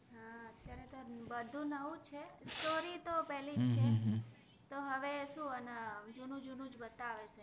એ તો બદ્ધુ નવુ જ છે story તો પેલિ જ છે તો હવે સુ અને જુનુ જુનુ જ બતાવે છે